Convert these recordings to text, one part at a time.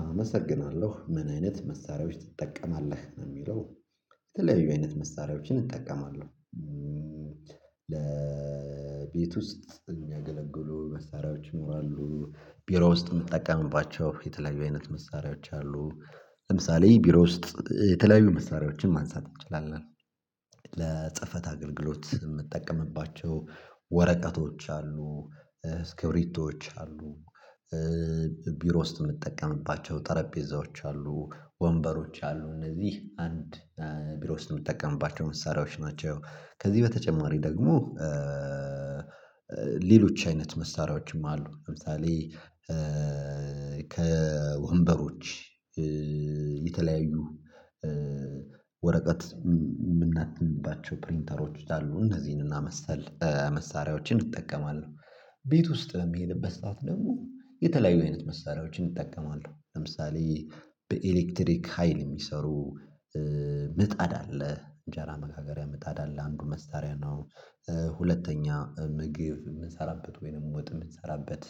አመሰግናለሁ ምን አይነት መሳሪያዎች ትጠቀማለህ ነው የሚለው? የተለያዩ አይነት መሳሪያዎችን እጠቀማለሁ። ለቤት ውስጥ የሚያገለግሉ መሳሪያዎች ይኖራሉ ቢሮ ውስጥ የምጠቀምባቸው የተለያዩ አይነት መሳሪያዎች አሉ። ለምሳሌ ቢሮ ውስጥ የተለያዩ መስመሪያዎችን ማንሳት እንችላለን። ለጽፈት አገልግሎት የምጠቀምባቸው ወረቀቶች አሉ እስክሪብቶች አሉ። ቢሮ ውስጥ የምትጠቀምባቸው ጠረጴዛዎች አሉ ወንበሮች አሉ እነዚህ አንድ ቢሮ ውስጥ የምጠቀምባቸው መሳሪያዎች ናቸው። ከዚህ በተጨማሪ ደግሞ ሌሎች አይነት መሳሪያዎችም አሉ ለምሳሌ ከወንበሮች የተለያዩ ወረቀት የምናትብባቸው ፕሪንተሮች አሉ እንዚህንና መሰል መሳሪያዎችን እጠቀማለሁ። ቤት ውስጥ በሚሄድበት ሰዓት ደግሞ የተለያዩ አይነት መሳሪያዎችን እጠቀማለሁ ለምሳሌ በኤሌክትሪክ ሀይል የሚሰሩ ምጣድ አለ እንጀራ መጋገሪያ ምጣድ አለ አንዱ መሳሪያ ነው። ሁለተኛ ምግብ የምሰራበት ወይንም ወጥ የምሰራበት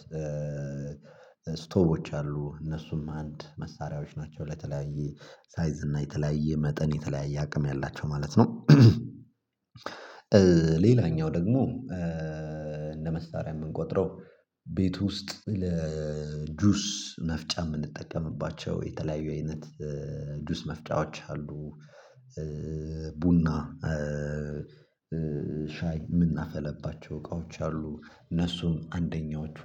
ስቶቮች አሉ እነሱም አንድ መሳሪያዎች ናቸው ለተለያየ ሳይዝ እና የተለያየ መጠን የተለያየ አቅም ያላቸው ማለት ነው። ሌላኛው ደግሞ እንደ መሳሪያ የምንቆጥረው ቤት ውስጥ ለጁስ መፍጫ የምንጠቀምባቸው የተለያዩ አይነት ጁስ መፍጫዎች አሉ። ቡና ሻይ የምናፈለባቸው እቃዎች አሉ እነሱም አንደኛዎቹ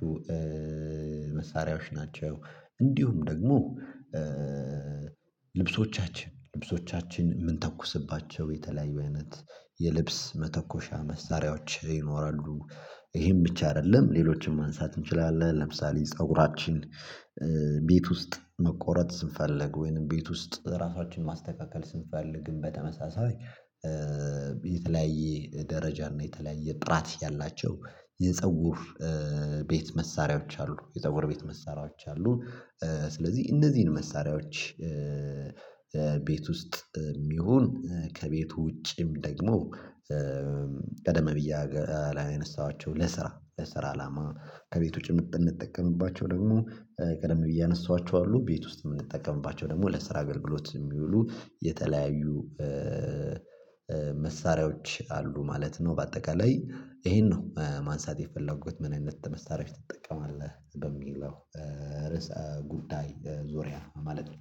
መሳሪያዎች ናቸው። እንዲሁም ደግሞ ልብሶቻችን ምንተኩስባቸው የተለያዩ አይነት የልብስ መተኮሻ መሳሪያዎች ይኖራሉ። ይሄን ብቻ አይደለም ሌሎችንም ማንሳት እንችላለን ለምሳሌ ፀጉራችን ቤት ውስጥ መቆረጥ ስንፈልግ ወይንም ቤት ውስጥ ራሳችንን ማስተካከል ስንፈልግም በተመሳሳይ የተለያየ ደረጃ እና የተለያየ ጥራት ያላቸው የፀጉር ቤት መሳሪያዎች አሉ የፀጉር ቤት መሳሪያዎች አሉ። ስለዚህ እነዚህን መሳሪያዎች ቤት ውስጥም ይሁን ከቤት ውጪም ደግሞ ቀደም ብዬ ያነሳኋቸው ለስራ ለስራ አላማ ከቤት ውጪ የምንጠቀምባቸው ደግሞ ቀደም ብዬ ያነሳኋቸው አሉ ቤት ውስጥ የምንጠቀምባቸው ደግሞ ለስራ አገልግሎት የሚውሉ የተለያዩ መሳሪያዎች አሉ ማለት ነው። በአጠቃላይ ይሄን ነው ማንሳት የፈለጉት ምን አይነት መሳሪያዎች ትጠቀማለህ በሚለው ርዕሰ ጉዳይ ዙሪያ ማለት ነው።